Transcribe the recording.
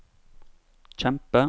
kjempe